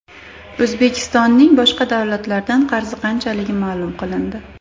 O‘zbekistonning boshqa davlatlardan qarzi qanchaligi ma’lum qilindi.